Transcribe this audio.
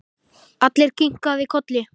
Alli kinkaði kolli.